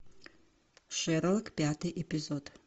шерлок пятый эпизод